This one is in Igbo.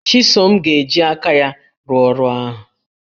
Chisom ga-eji aka ya rụọ ọrụ ahụ